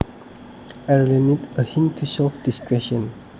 I really need a hint to solve this question